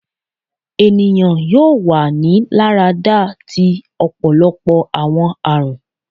Eniyan yoo wa ni larada ti ọpọlọpọ awọn arun